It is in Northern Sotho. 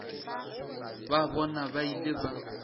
ba bona ba ile ba